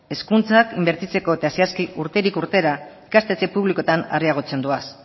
hezkuntzak inbertitzeko eta zehazki urterik urtera ikastetxe publikoetan areagotzen doaz